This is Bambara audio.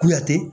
Kuyate